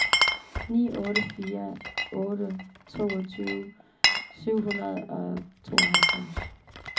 ni otte fire otte toogtyve syv hundrede og tooghalvfems